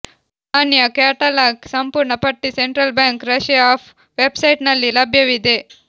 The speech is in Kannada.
ನಾಣ್ಯ ಕ್ಯಾಟಲಾಗ್ ಸಂಪೂರ್ಣ ಪಟ್ಟಿ ಸೆಂಟ್ರಲ್ ಬ್ಯಾಂಕ್ ರಶಿಯಾ ಆಫ್ ವೆಬ್ಸೈಟ್ನಲ್ಲಿ ಲಭ್ಯವಿದೆ